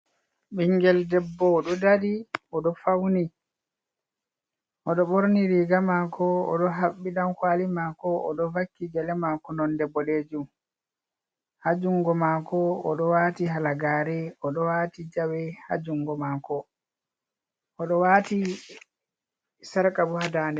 Ɓingel debbo o dari, o ɗoh fawni, o ɗoh ɓorni riga mako, o ɗoh haɓɓi ɗankwali mako, o ɗoh vakki gele mako nonde boɗejum ha jungo mako o ɗo wati halagare, o ɗoh wati jawe ha jungo mako, o ɗo wati sarka bo ha dade.